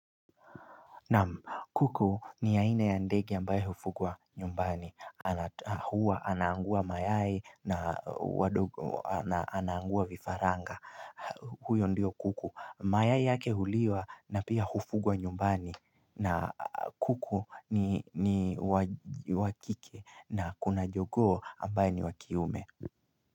Na kuku ni aina ya ndege ambaye hufugwa nyumbani huwa anaangua mayai na wadogo anaangua vifaranga huyo ndiyo kuku mayai yake huliwa na pia hufugwa nyumbani na kuku ni wakike na kuna jogoo ambaye ni wakiume.